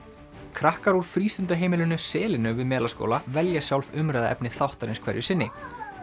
krakkar úr frístundaheimilinu selinu við Melaskóla velja sjálf umræðuefni þáttarins hverju sinni